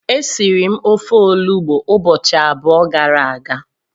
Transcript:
esiri m ofe olugbu ubochi abuo gara aga.